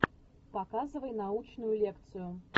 показывай научную лекцию